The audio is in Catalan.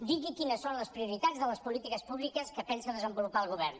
digui quines són les prioritats de les polítiques públiques que pensa desenvolupar el govern